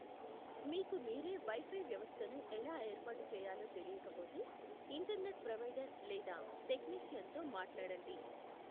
మీకు మీరే వైఫై వ్యవస్థను ఎలా ఏర్పాటు చేయాలో తెలియకపోతే ఇంటర్నెట్ ప్రొవైడర్ లేదా టెక్నీషియన్తో మాట్లాడండి.